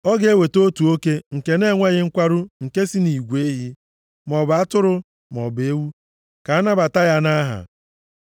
ọ ga-eweta otu oke nke na-enweghị nkwarụ nke si nʼigwe ehi, maọbụ atụrụ, maọbụ ewu, ka a nabata ya nʼaha.